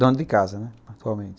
Dona de casa, né, atualmente.